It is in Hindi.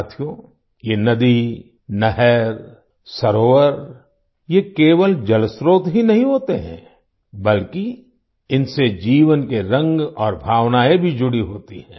साथियो ये नदी नहर सरोवर ये केवल जलस्त्रोत ही नहीं होते हैं बल्कि इनसे जीवन के रंग और भावनाएं भी जुड़ी होती हैं